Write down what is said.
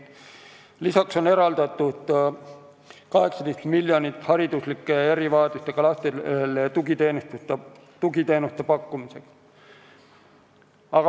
Lisaks on eraldatud 18 miljonit hariduslike erivajadustega lastele tugiteenuste pakkumiseks.